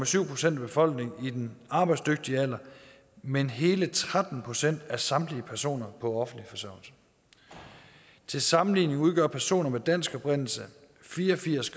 syv procent af befolkningen i den arbejdsdygtige alder men hele tretten procent af samtlige personer på offentlig forsørgelse til sammenligning udgør personer af dansk oprindelse fire og firs